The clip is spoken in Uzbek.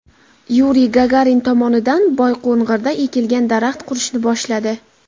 Yuriy Gagarin tomonidan Boyqo‘ng‘irda ekilgan daraxt qurishni boshladi.